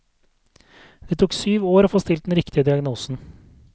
Det tok syv år å få stilt den riktige diagnosen.